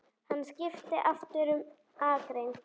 Honum skal ekki takast það!